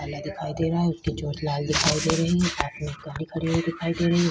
काला दिखाई दे रहा है उसके चोट लाल दिखाई दे रही है पास में एक गाड़ी हुई दिखाई दे रही है।